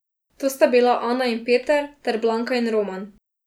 To sta bila Ana in Peter ter Blanka in Roman.